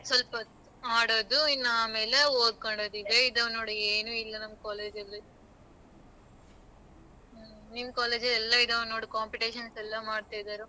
ಸ್ವಲ್ಪವತ್ತು ಆಡೋದು ಇನ್ನ ಆಮೇಲೆ ಓದಕೊಳೋದು ಇದೆ ಇದವ ನೋಡು ಏನೂ ಇಲ್ಲ ನಮ್ college ಅಲ್ಲಿ ಹ್ಮ ನಿಮ್ college ಎಲ್ಲ ಇದಾವ ನೋಡು competition ಎಲ್ಲ ಮಾಡ್ತಾ ಇದಾರೆ.